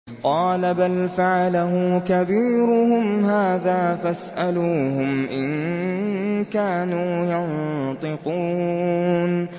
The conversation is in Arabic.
قَالَ بَلْ فَعَلَهُ كَبِيرُهُمْ هَٰذَا فَاسْأَلُوهُمْ إِن كَانُوا يَنطِقُونَ